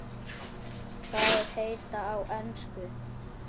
Þær heita á ensku